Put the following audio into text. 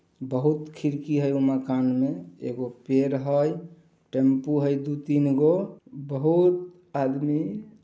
बहुत खिड़की है ओ मकान में एगो पेड़ है टेंपो है दुई तीनगो बहुत आदमी--